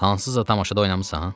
Hansısa tamaşada oynamısan?